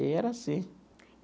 E era assim.